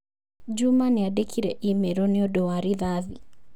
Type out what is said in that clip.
Juma nĩandĩkĩire i-mīrū nĩũndũ wa rithathi.